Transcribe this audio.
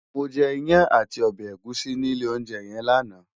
Mó je iyán àtí òbè égùsí ni ilé óunjè yèn làná